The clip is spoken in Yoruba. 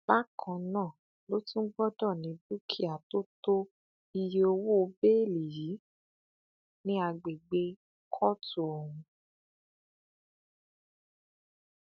bákan náà ló tún gbọdọ ní dúkìá tó tó iye owó bẹẹlí yìí ní àgbègbè kóòtù ọhún